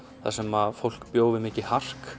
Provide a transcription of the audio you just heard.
þar sem fólk bjó við mikið hark